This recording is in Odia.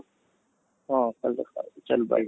ହଁ, କାଲି ଦେଖା ହେବା ଚାଲ bye